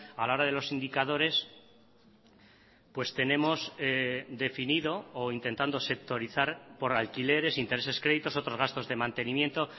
a la hora de los indicadores pues tenemos definido o intentando sectorizar por alquileres intereses créditos otros gastos de mantenimiento